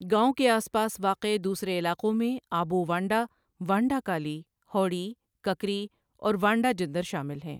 گاؤں کے آس پاس واقع دوسرے علاقوں میں آبو وانڈہ، وانڈہ کالی، هوڑی، ککری اور وانڈہ جندر شامل ہیں۔